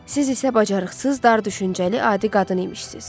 Siz isə bacarıqsız, dar düşüncəli adi qadın imişsiz.